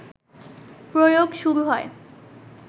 প্রয়োগ শুরু হয়